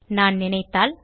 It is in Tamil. நான் நினைத்தால்